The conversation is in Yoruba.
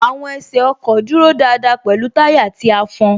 Àwọn ẹsẹ ọkọ̀ dúró dáadáa pẹ̀lú táyà tí a fọn